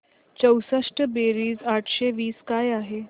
चौसष्ट बेरीज आठशे वीस काय आहे